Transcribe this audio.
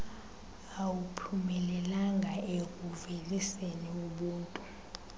akuphumelelanga ekuuveliseni ubuntu